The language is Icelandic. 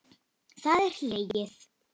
Það er hlegið.